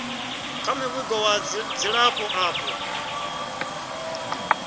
kha muvhigo wa dzilafho avho